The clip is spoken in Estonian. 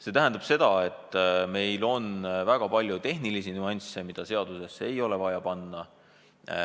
See tähendab seda, et meil on väga palju tehnilisi nüansse, mida seadusesse ei ole vaja panna.